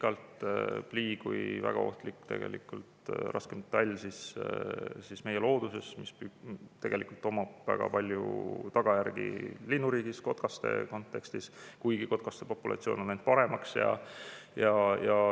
Plii on väga ohtlik raskmetall meie looduses, millel on väga palju tagajärgi linnuriigis, eriti kotkaste kontekstis, kuigi kotkaste populatsioon on läinud paremaks.